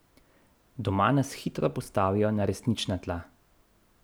Doma nas hitro postavijo na resnična tla.